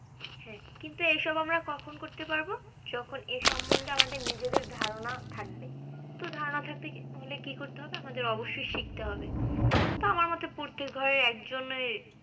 হ্যাঁ, কিন্তু এইসব আমরা কখন করতে পারবো? যখন এ সম্মন্ধে আমাদের নিজেদের ধারণা থাকবে, তো ধারণা থাকতে হলে আমাদের কি করতে হবে? আমাদের অবশ্যই শিখতে হবে বা আমার মতে প্রত্যেক ঘরের একজনের